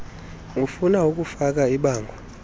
ufuna ukufaka ibango